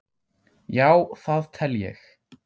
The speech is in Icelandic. Já það tel ég.